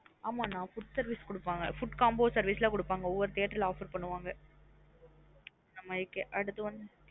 ஆமா நா food service குடுப்பாங்க food combo service லா குடுப்பாங்க ஒவ்வொரு theatre லா offer பண்ணுவாங்க நம்மளுகே